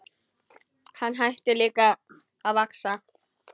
Hann hætti líka að vaxa.